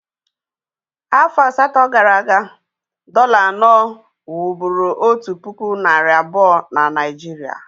Afọ asatọ gara aga, dọ̀là anọ wụ́bụ́ru otu puku nari abuo na Naịjirịa